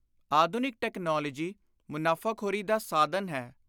ਆਧੁਨਿਕ ਟੈਕਨਾਲੋਜੀ ਮੁਨਾਫ਼ਾਖ਼ੋਰੀ ਦਾ ਸਾਧਨ ਹੈ।